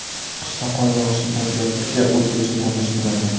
Qishda qor yog‘ishi tabiatga o‘zgacha ko‘rinish beradi.